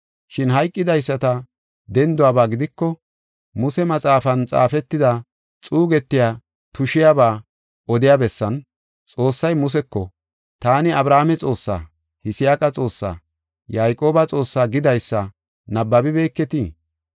Shin hayqidaysata denduwaba gidiko, Muse maxaafan xaafetida xuugetiya tushiyaba odiya bessan, Xoossay Museko, ‘Taani, Abrahaame Xoossa, Yisaaqa Xoossa, Yayqooba Xoossa’ gidaysa nabbabibeketii?